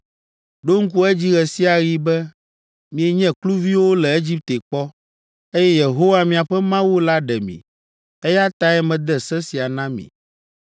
Ɖo ŋku edzi ɣe sia ɣi be mienye kluviwo le Egipte kpɔ, eye Yehowa, miaƒe Mawu la ɖe mi, eya tae mede se sia na mi.